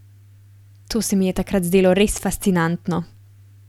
To se mi je takrat zdelo res fascinantno.